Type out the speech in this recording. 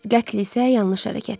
Qətl isə yanlış hərəkətdir.